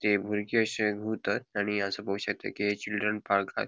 ती बुर्गी अशे गुवतात आणि हांगासर पोवक शकता की चिल्ड्रन पार्क आह.